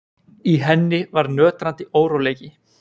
Í henni var nötrandi óróleiki.